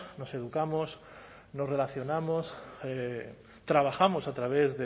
nos educamos nos relacionamos trabajamos a través